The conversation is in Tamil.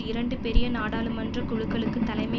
இரண்டு பெரிய நாடாளுமன்ற குழுக்களுக்கு தலைமை